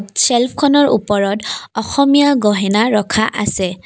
চেফখনৰ ওপৰত অসমীয়া গহনা ৰখা আছে।